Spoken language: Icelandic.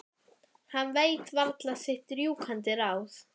Hann veit varla sitt rjúkandi ráð.